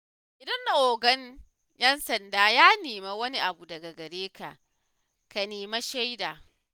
Idan 'Ogan 'yan sanda ya nemi wani abu daga gareka ka nemi shaidu.